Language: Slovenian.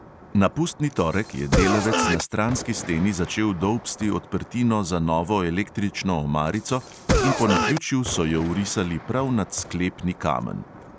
Na pustni torek je delavec na stranski steni začel dolbsti odprtino za novo električno omarico in po naključju so jo vrisali prav nad sklepni kamen.